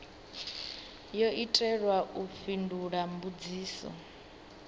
yo itelwa u fhindula mbudziso